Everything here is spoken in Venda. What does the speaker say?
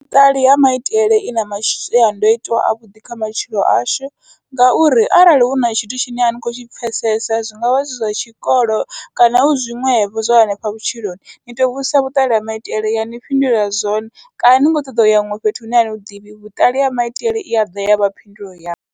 Vhuṱali ha maitele ina mashiandoitwa avhuḓi kha matshilo ashu, ngauri arali huna tshithu tshine ani kho tshi pfhesesa zwingavha zwi zwa tshikolo kana hu zwiṅwevho zwa hanefha vhutshiloni, ni to vhudzisa vhuṱali ha maitele yani fhindulela zwone kana ni kho ṱoḓa uya huṅwe fhethu hune ani huḓivhi vhuṱali ha maitele i aḓa yavha phindulo yaṋu.